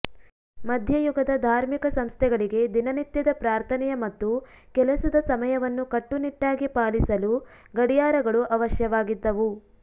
ಮಧ್ಯಯುಗದ ಧಾರ್ಮಿಕ ಸಂಸ್ಥೆಗಳಿಗೆ ದಿನನಿತ್ಯದ ಪ್ರಾರ್ಥನೆಯ ಮತ್ತು ಕೆಲಸದ ಸಮಯವನ್ನು ಕಟ್ಟುನಿಟ್ಟಾಗಿ ಪಾಲಿಸಲು ಗಡಿಯಾರಗಳು ಅವಶ್ಯವಾಗಿದ್ದವು